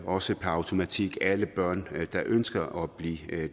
også per automatik alle børn der ønsker at blive